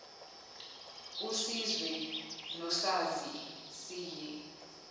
usizwe nosazi siye